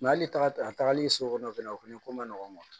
hali taga a tagali so kɔnɔ fɛnɛ o fɛnɛ ko ma nɔgɔn